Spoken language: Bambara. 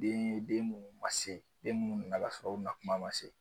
Den munnu ma se den minnu nana ka sɔrɔ u na kuma ma se